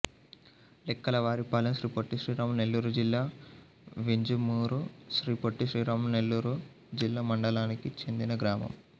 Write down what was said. లెక్కలవారిపాలెం శ్రీ పొట్టి శ్రీరాములు నెల్లూరు జిల్లా వింజమూరు శ్రీ పొట్టి శ్రీరాములు నెల్లూరు జిల్లా మండలానికి చెందిన గ్రామం